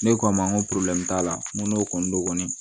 Ne k'a ma n ko t'a la n ko n'o kɔni don